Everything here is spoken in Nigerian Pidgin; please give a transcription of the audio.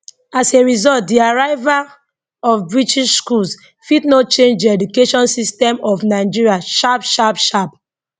as a result di arrival of british schools fit no change di education systemmof nigeria sharp sharp sharp